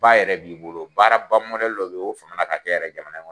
Baara yɛrɛ b'i bolo, baara ba mɔdɛli dɔ bɛ yen o famana ka kɛ yɛrɛ jamana kɔnɔ.